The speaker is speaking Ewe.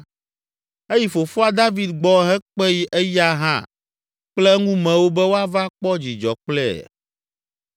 Eyi fofoa David gbɔ hekpe eya hã kple eŋumewo be woava kpɔ dzidzɔ kple ye.